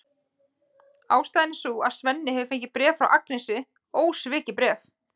Ástæðan er sú að Svenni hefur fengið bréf frá Agnesi, ósvikið bréf!